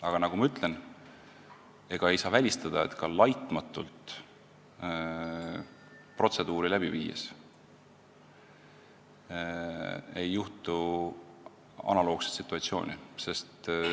Aga nagu ma ütlesin, ei saa välistada, et ka protseduure laitmatult läbi viies ei teki analoogseid situatsioone.